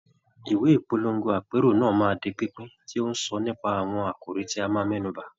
Ìwé ìpolongo àpérò náà máa di pínpín, tí ó ń sọ nípa àwọn àkòrí tí a máa mẹ́nu bà.